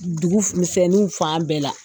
Dugumisɛnninw fan bɛɛ la